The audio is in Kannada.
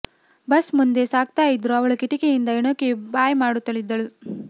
ಬಸ್ ಮುಂದೆ ಸಾಗ್ತಾ ಇದ್ರೂ ಅವಳು ಕಿಟಕಿಯಿಂದ ಇಣುಕಿ ಬಾಯ್ ಮಾಡುತ್ತಲಿದ್ದಳು